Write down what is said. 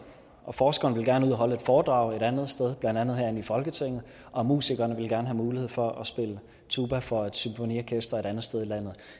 og forskeren ville gerne ud og holde et foredrag et andet sted blandt andet herinde i folketinget og musikerne ville gerne have mulighed for at spille tuba for et symfoniorkester et andet sted i landet